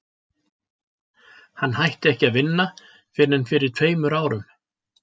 Hann hætti ekki að vinna fyrr en fyrir tveim árum.